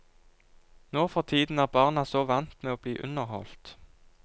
Nå for tiden er barna så vant med å bli underholdt.